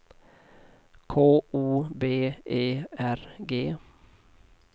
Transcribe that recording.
K O B E R G